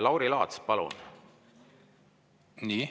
Lauri Laats, palun!